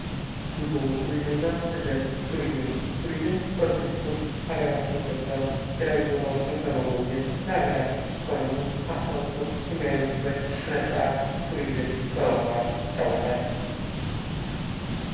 ጉዞ ቱሪዝምና ስደት፤ ቱሪዝም፦ ቱሪዝም በቱሪስቶች ሃገራችን ገብተው የተለያዩ ቦታወችን በመጎብኘት ለሃገራችን ኢኮኖሚ አስተዋጽኦ የሚያደርጉበት ስነስርዓት ቱሪዝም በመባል ይታወቃል።